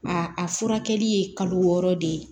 a furakɛli ye kalo wɔɔrɔ de ye